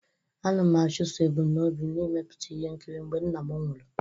Ana m achụso ebumnobi m n'imepụta ihe nkiri mgbe nna m nwụrụ.